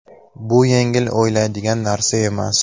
Bu yengil o‘ylaydigan narsa emas.